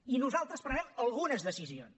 i nosaltres prenem algunes decisions